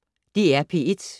DR P1